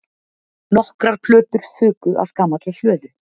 Nokkrar plötur fuku af gamalli hlöðu